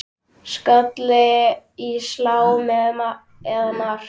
Skalli í slá eða mark?